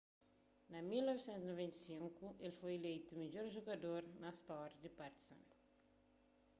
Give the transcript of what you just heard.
na 1995 el foi ileitu midjor jugador na stória di partizan